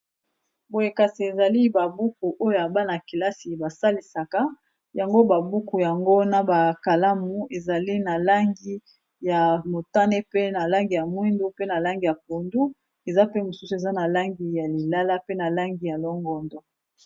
Boye kasi, ezali ba buku oyo bana-kelasi ba salisaka. Yango ba buku yango, naba kalamu ezali na langi ya motane, pe na langi ya mwindu, pe na langi ya pundu. Eza pe mosusu, eza na langi ya lilala, pe na langi ya longondo.